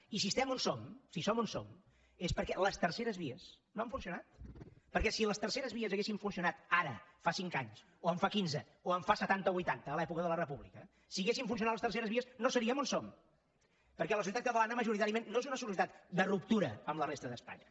i si estem on som si som on som és perquè les terceres vies no han funcionat perquè si les terceres vies haguessin funcionat ara fa cinc anys o en fa quinze o en fa setanta o vuitanta a l’època de la república si haguessin funcionat les terceres vies no seriem on som perquè la societat catalana majoritàriament no és una societat de ruptura amb la resta d’espanya